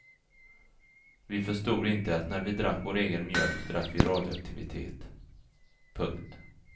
Vi förstod inte att när vi drack vår egen mjölk drack vi radioaktivitet. punkt